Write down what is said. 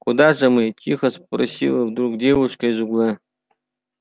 куда же мы тихо спросила вдруг девушка из угла